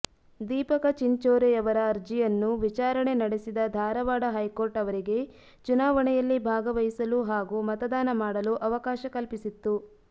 ದೀಪಕ ಚಿಂಚೋರೆಯವರಅರ್ಜಿಯನ್ನು ವಿಚಾರಣೆ ನಡೆಸಿದ ಧಾರವಾಡ ಹೈಕೋರ್ಟ್ ಅವರಿಗೆ ಚುನಾವಣೆಯಲ್ಲಿ ಭಾಗವಹಿಸಲು ಹಾಗೂ ಮತದಾನ ಮಾಡಲು ಅವಕಾಶ ಕಲ್ಪಿಸಿತ್ತು